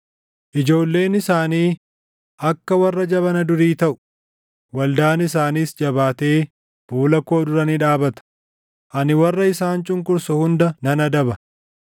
Ijoolleen isaanii akka warra jabana durii taʼu; waldaan isaaniis jabaatee fuula koo dura ni dhaabata; ani warra isaan cunqursu hunda nan adaba.